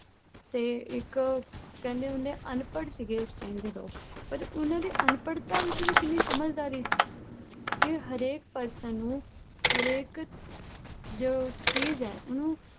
ਤੇ ਇੱਕ ਕਹਿੰਦੇ ਹੁੰਦੇ ਆ ਅਨਪੜ੍ਹ ਸੀਗੇ ਉਸ time ਦੇ ਲੋਕ, ਪਰ ਉਹਨਾਂ ਦੀ ਅਨਪੜ੍ਹਤਾ ਵਿੱਚ ਵੀ ਕਿੰਨੀ ਸਮਝਦਾਰੀ ਸੀ ਕਿ ਹਰੇਕ person ਨੂੰ ਹਰੇਕ ਜੋ ਚੀਜ਼ ਹੈ ਉਹਨੂੰ